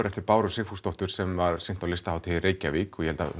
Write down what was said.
eftir Báru Sigfúsdóttur sem sýnt var á Listahátíð í Reykjavík og ég held að